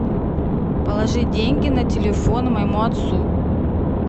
положи деньги на телефон моему отцу